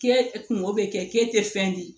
K'e kungo bɛ kɛ k'e tɛ fɛn di